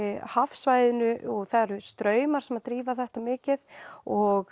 hafsvæðinu og það eru straumar sem drífa þetta mikið og